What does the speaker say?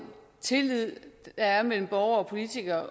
tillid der er mellem borgere og politikere